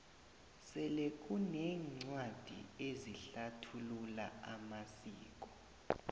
sele kuneencwadi ezihlathulula amasiko